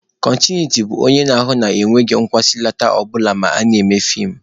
Kọntinuiti bụ onye na-ahụ na enweghị nkwụsịlata ọ bụla ma a na-eme feem.